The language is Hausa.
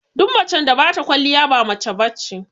Duk macen da bata kwaliya ba mace bace